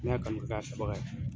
N y'a kanu ka